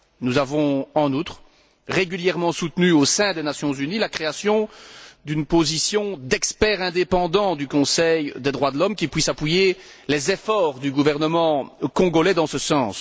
Nous avons, en outre, régulièrement soutenu au sein des Nations unies la création d'une position d'expert indépendant du Conseil des droits de l'homme, qui puisse appuyer les efforts du gouvernement congolais dans ce sens.